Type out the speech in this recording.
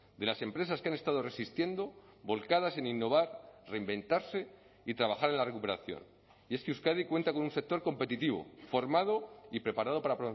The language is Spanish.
de las empresas que han estado resistiendo volcadas en innovar reinventarse y trabajar en la recuperación y es que euskadi cuenta con un sector competitivo formado y preparado para